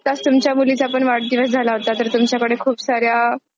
आताच तुमच्या मुलीचा पण वाढदिवस झाला होता. तर तुमच्याकडे खूप साऱ्या